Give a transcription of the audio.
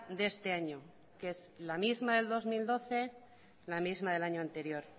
de este año que es la misma que el dos mil doce la misma del año anterior